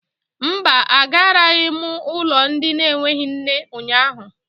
Mba, agaraghị m ụlọ ndị na-enweghị nne ụnyahụ.